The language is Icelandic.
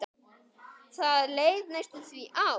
Það leið næstum því ár.